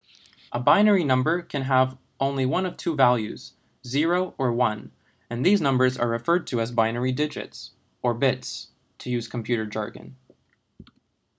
a binary number can have only one of two values i.e. 0 or 1 and these numbers are referred to as binary digits or bits to use computer jargon